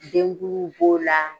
Denkuluw b'o la